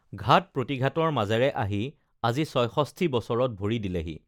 ঘাত প্ৰতিঘাতৰ মাজেৰে অহি আজি ছয়ষষ্ঠি বছৰত ভৰি দিলেহি